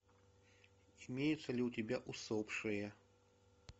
имеется ли у тебя усопшие